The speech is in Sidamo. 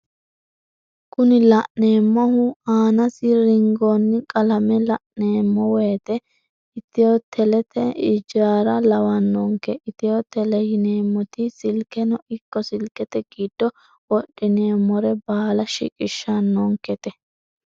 Kuni la'neemohu aanasi ringoonni qalame la'neemo woyiite ithio telete ijaara lawannonke ithio tele yineemoti silkeno ikko silkete giddo wodhineemore baala shiqishshannonkete.